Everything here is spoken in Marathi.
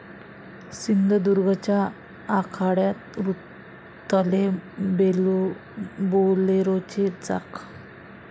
सिंधुदुर्गच्या आखाड्यात रुतले 'बोलेरो'चे चाक!